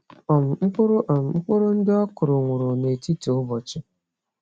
um Mkpụrụ um Mkpụrụ ndị ọkụrụ nwụrụ netiti ubochi